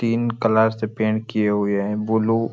तीन कलर से पेंट किये हुए है ब्लू --